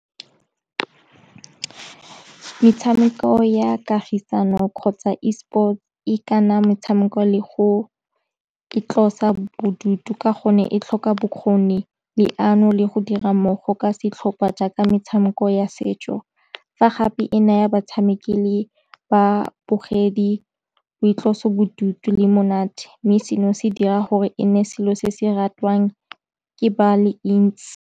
Metshameko ya kagisano kgotsa Esports e ikana metshameko le go itlosa bodutu ka gonne e tlhoka bokgoni, leano le go dira mmogo ka setlhopa jaaka metshameko ya setso. Fa gape e naya batshameki le babogedi boitloso bodutu le monate, mme seno se dira gore e nne selo se se ratwang ke ba le ntsi.